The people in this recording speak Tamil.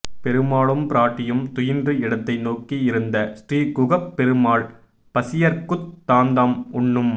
பெருமாளும் பிராட்டியும் துயின்று இடத்தை நோக்கி இருந்த ஸ்ரீகுகப் பெருமாள் பசியர்க்குத் தாந்தாம் உண்ணும்